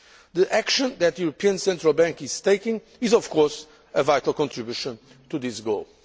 again. The action that the European Central Bank is taking is, of course, a vital contribution to this